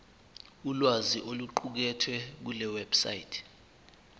ulwazi oluqukethwe kulewebsite